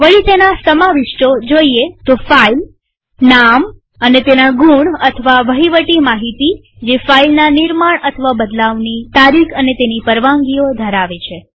વળી તેના સમાવિષ્ટો જોઈએ તો ફાઈલનામ અને તેના ગુણ અથવા વહીવટી માહિતીજેફાઈલના નિર્માણબદલાવની તારીખ અને તેની પરવાનગીઓ ધરાવે છે